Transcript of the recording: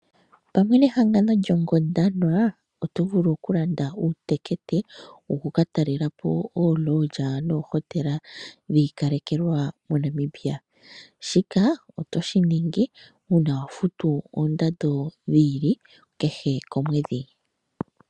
Pamwe nehangango lyOngondwana oto vulu okulanda uutekete woku ka talela po oolodge noohotela dhi ikalekelwa moNamibia. Shika oto shi ningi uuna wa futu oondando dhi ili kehe komwedhi.